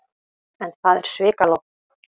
En það er svikalogn.